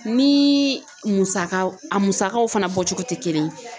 Ni musaka a musakaw fana bɔcogo tɛ kelen ye.